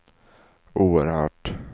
oerhört